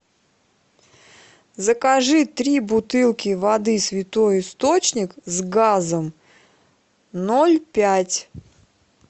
закажи три бутылки воды святой источник с газом ноль пять